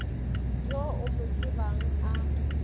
yo o mo tsebang a